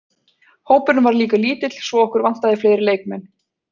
Hópurinn var líka lítill svo okkur vantaði fleiri leikmenn.